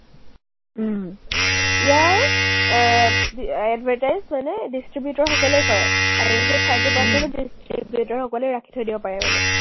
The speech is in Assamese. ইয়াৰ আহ আহ advertise মানে distributor সকলেই কৰে আৰু সেই thirty percent distributor সকলেই ৰাখি থৈ দিব পাৰে মানে।